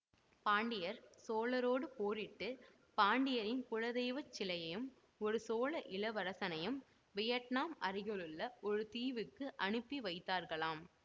பாண்டியர் சோழரோடு போரிட்டு பாண்டியரின் குலதெய்வ சிலையையும் ஒரு சோழ இளவரசனையும் வியட்னாம் அருகிலுள்ள ஒரு தீவுக்கு அனுப்பி வைத்தார்களாம்